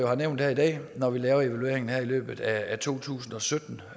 har nævnt her i dag når vi laver evalueringen her i løbet af to tusind og sytten